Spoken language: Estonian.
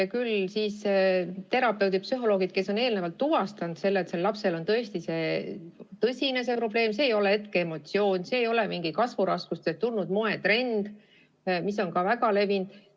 Ja küll siis terapeudid või psühholoogid tuvastavad, kas sellel lapsel on tõesti tõsine probleem ja et see ei ole hetkeemotsioon ega kasvuraskusest tulenenud moetrend, mis on samuti väga levinud.